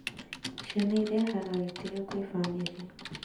Ciana irehaga gĩtĩo kwĩ famĩrĩ